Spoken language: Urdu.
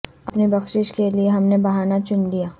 اپنی بخشش کے لیے ہم نے بہانہ چن لیا